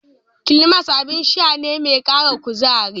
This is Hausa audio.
Klimas abin sha ne mai ƙara kuzari.